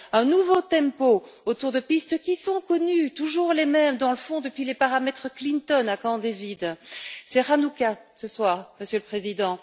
Un nouveau tempo autour de pistes qui sont connues, toujours les mêmes dans le fond, depuis les paramètres Clinton à Camp David. C'est Hanukka, ce soir, Monsieur le Président.